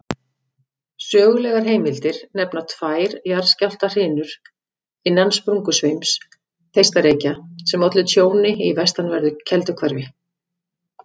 Sögulegar heimildir nefna tvær jarðskjálftahrinur innan sprungusveims Þeistareykja sem ollu tjóni í vestanverðu Kelduhverfi.